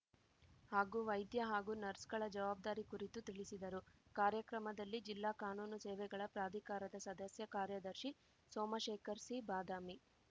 ಹಾಗೂ ವೈದ್ಯ ಹಾಗೂ ನರ್ಸ್‌ಗಳ ಜವಾಬ್ಧಾರಿ ಕುರಿತು ತಿಳಿಸಿದರು ಕಾರ್ಯಕ್ರಮದಲ್ಲಿ ಜಿಲ್ಲಾ ಕಾನೂನು ಸೇವೆಗಳ ಪ್ರಾಧಿಕಾರದ ಸದಸ್ಯ ಕಾರ್ಯದರ್ಶಿ ಸೋಮಶೇಖರ್ ಸಿ ಬಾದಾಮಿ